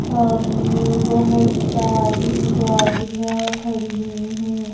सामने बहोत सारी गाड़ियां खड़ी हैं।